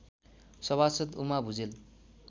सभासद् उमा भुजेल